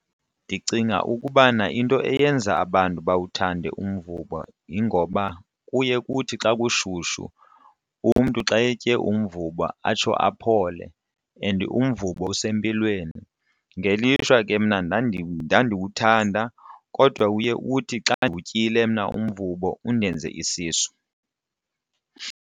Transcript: Ndicinga ukubana into eyenza abantu bawuthanda umvubo yingoba kuye kuthi xa kushushu umntu xa etye umvubo atsho aphole and umvubo usempilweni. Ngelishwa ke mna ndandiwuthanda kodwa uye uthi xa ndiwutyile mna umvubo undenze isisu.